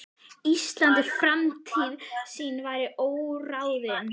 Íslands, en framtíð sín væri óráðin.